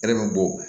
Hɛrɛ bɛ bɔ